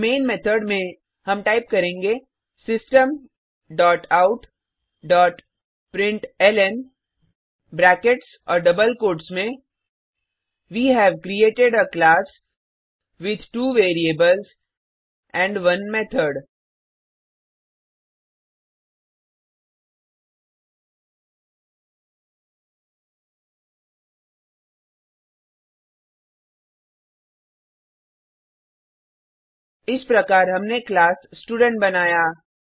अब main method में हम टाइप करेंगे system dot out dot println brackets और डबल कोट्स में we have created a class with two variables and 1 method इस प्रकार हमने क्लास स्टूडेंट बनाया